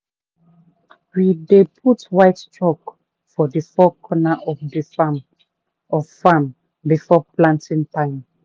we dey put white chalk for the four corner of farm before of farm before planting time.